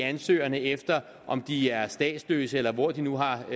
ansøgerne efter om de er statsløse eller hvor de nu har